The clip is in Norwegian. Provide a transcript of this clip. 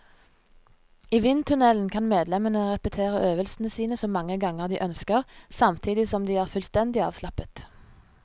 I vindtunnelen kan medlemmene repetere øvelsene sine så mange ganger de ønsker, samtidig som de er fullstendig avslappet.